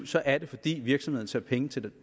så er det fordi virksomheden ser penge til